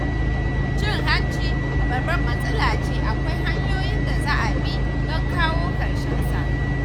Cin hanci babbar matsala ce akwai hanyoyi da za a bi don kawo ƙarshensa.